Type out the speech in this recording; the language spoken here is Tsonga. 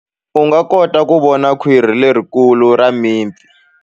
U nga kota ku vona khwiri lerikulu ra mipfi.